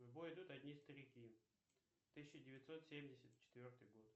в бой идут одни старики тысяча девятьсот семьдесят четвертый год